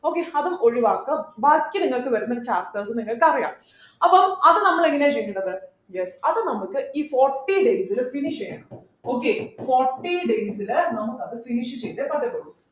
okay അതും ഒഴിവാക്കുക ബാക്കി നിങ്ങൾക്ക് വരുന്ന chapters നിങ്ങൾക്ക് അറിയാം അപ്പൊ അത് നമ്മൾ എങ്ങനെയാ ചെയ്യേണ്ടത് yes അത് നമുക്ക് ഈ forty days ലു finish ചെയ്യണം okay forty days ലു നമുക്കത് finish ചെയ്തേ പറ്റത്തുള്ളൂ